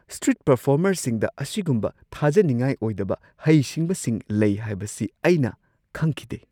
Street ꯄꯔꯐꯣꯔꯃꯔꯁꯤꯡꯗ ꯑꯁꯤꯒꯨꯝꯕ ꯊꯥꯖꯅꯤꯡꯉꯥꯏ ꯑꯣꯏꯗꯕ ꯍꯩꯁꯤꯡꯕꯁꯤꯡ ꯂꯩ ꯍꯥꯏꯕꯁꯤ ꯑꯩꯅ ꯈꯪꯈꯤꯗꯦ꯫ (ꯃꯤꯑꯣꯏ ꯱)